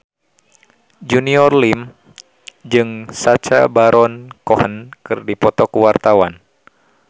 Junior Liem jeung Sacha Baron Cohen keur dipoto ku wartawan